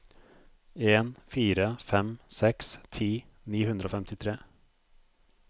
en fire fem seks ti ni hundre og femtitre